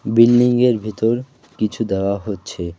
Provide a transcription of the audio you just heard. Building -এর ভেতর কিছু দেওয়া হচ্ছে।